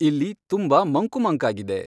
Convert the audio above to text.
ಇಲ್ಲಿ ತುಂಬಾ ಮಂಕು ಮಂಕಾಗಿದೆ